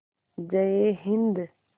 जय हिन्द